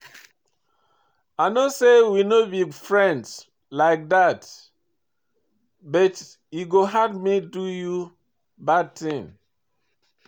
I know say we no be friend like dat, but e go hard me do you bad thing.